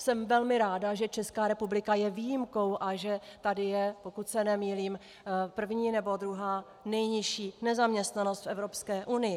Jsem velmi ráda, že Česká republika je výjimkou a že tady je, pokud se nemýlím, první nebo druhá nejnižší nezaměstnanost v Evropské unii.